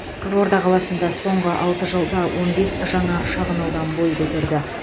қызылорда қаласында соңғы алты жылда он бес жаңа шағын аудан бой көтерді